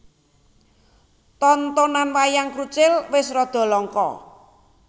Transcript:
Tontonan Wayang Krucil wis rada langka